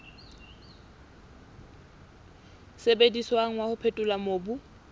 sebediswang wa ho phethola mobu